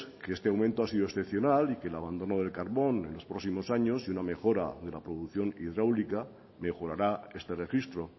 que este aumento ha sido excepcional y que el abandono del carbón en los próximos años y una mejora de la producción hidráulica mejorará este registro